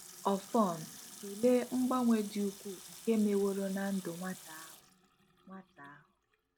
Ọfọn, tụlee mgbanwe dị ukwuu nke meworo ná ndụ nwata ahụ. nwata ahụ.